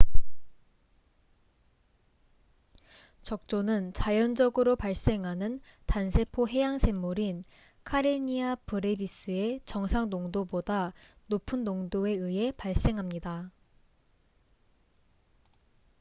적조는 자연적으로 발생하는 단세포 해양생물인 카레니아 브레비스의 정상 농도보다 높은 농도에 의해 발생합니다